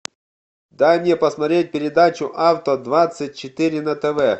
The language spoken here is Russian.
дай мне посмотреть передачу авто двадцать четыре на тв